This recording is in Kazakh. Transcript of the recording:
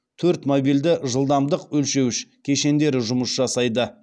төрт мобильді жылдамдық өлшеуіш кешендері жұмыс жасайды